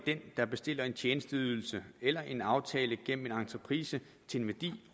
den der bestiller en tjenesteydelse eller en aftale gennem en entreprise til en værdi